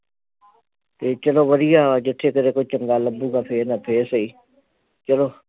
ਤੇ ਚਲੋ ਵਧੀਆ ਵਾ ਜਿਥੇ ਫਿਰ ਕੋਈ ਚੰਗਾ ਲੱਭੂਗਾ ਫਿਰ ਦਾ ਫਿਰ ਸਹੀ ਚਲੋ